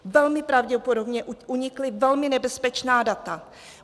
Velmi pravděpodobně unikla velmi nebezpečná data.